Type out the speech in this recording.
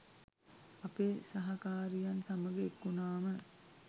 අපේ සහකාරියන් සමග එක්වුණාම